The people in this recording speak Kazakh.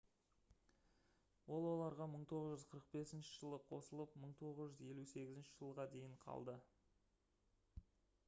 ол оларға 1945 жылы қосылып 1958 жылға дейін қалды